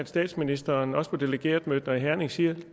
statsministeren også på delegeretmødet i herning siger